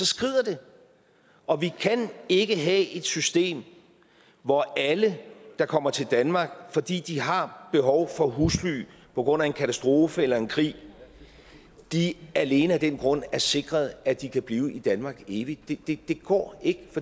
skrider det og vi kan ikke have et system hvor alle der kommer til danmark fordi de har behov for husly på grund af en katastrofe eller en krig alene af den grund er sikret at de kan blive i danmark for evigt det går ikke